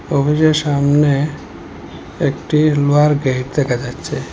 অফিসের সামনে একটি লোহার গেইট দেখা যাচ্ছে।